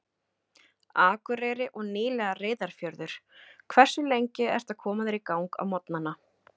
Akureyri og nýlega Reyðarfjörður Hversu lengi ertu að koma þér í gang á morgnanna?